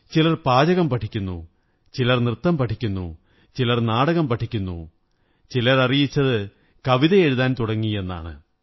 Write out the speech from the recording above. ചിലർ പാചകം പഠിക്കുന്നു ചിലർ നൃത്തം പഠിക്കുന്നു ചിലർ നാടകം പഠിക്കുന്നു ചിലരറിയിച്ചത് കവിതയെഴുതാൻ തുടങ്ങിയെന്നാണ്